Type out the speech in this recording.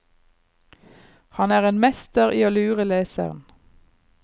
Han er en mester i å lure leseren.